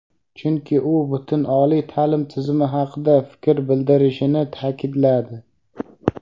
chunki u butun oliy ta’lim tizimi haqida fikr bildirishini ta’kidladi.